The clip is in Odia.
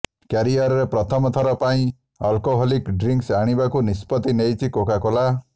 କ୍ୟାରିୟରରେ ପ୍ରଥମ ଥର ପାଇଁ ଅଲକୋହଲିକ୍ ଡ୍ରିଙ୍କ୍ସ ଆଣିବାକୁ ନିଷ୍ପତି ନେଇଛି କୋକାକୋଲା